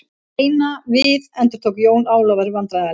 Reyna við endurtók Jón Ólafur vandræðalega.